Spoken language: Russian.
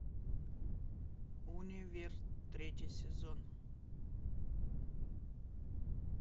универ третий сезон